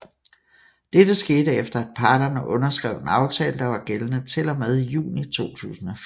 Dette skete efter af parterne underskrev en aftale der var gældende til og med juni 2014